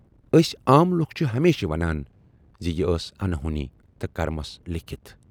ٲسۍ عام لوٗکھ چھِ ہمیشہِ ونان زِ یہِ ٲس انہونی تہٕ کرمَس لیٖکھِتھ۔